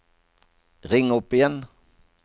ring opp igjen